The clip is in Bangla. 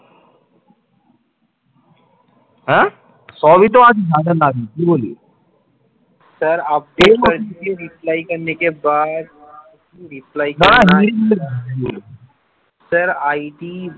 এর ID